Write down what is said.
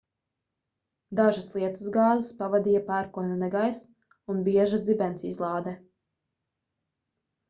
dažas lietusgāzes pavadīja pērkona negaiss un bieža zibensizlāde